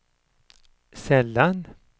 sällan